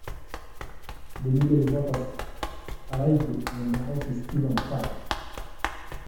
Etabautua lalikiorok le habari eton enyita enkaji enkima